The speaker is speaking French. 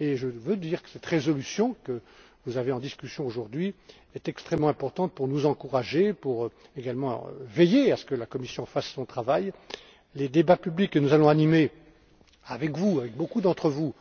et je tiens à dire que cette résolution que vous avez en discussion aujourd'hui est extrêmement importante pour nous encourager, pour également veiller à ce que la Commission fasse son travail. Les débats publics que nous allons animer avec beaucoup d'entre vous,